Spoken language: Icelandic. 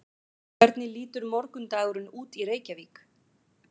hvernig lítur morgundagurinn út í reykjavík